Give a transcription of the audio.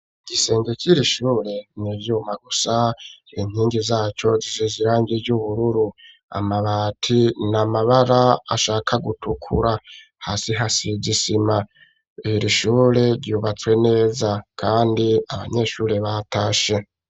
Igisenge c'irishure nivyuma gusa ,inkingi zaco zisize irangi ry'ubururu, amabati namabara ashaka gutukura ,hasi hasizisima, irishure ryubatswe neza kandi Abanyeshure batashe.